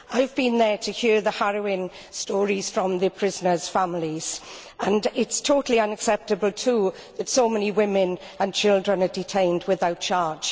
I have been there to hear the harrowing stories from the prisoners' families, and it is totally unacceptable, too, that so many women and children are detained without charge.